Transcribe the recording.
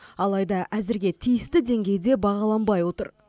алайда әзірге тиісті деңгейде бағаланбай отыр